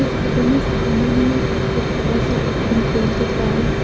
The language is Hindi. फोटो में सामने में एक बहुत बड़ा सा ओपेन दिख रहा है।